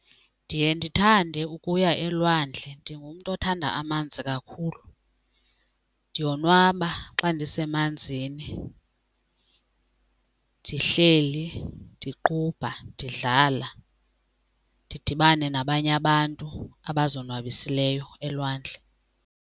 Ndiye ndithande ukuya elwandle, ndingumntu othanda amanzi kakhulu. Ndiyonwaba xa ndisemanzini ndihleli ndiqubha ndidlala ndidibane nabanye abantu abazonwabisileyo elwandle.